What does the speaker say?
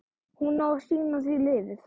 Hún á að sýna því lífið.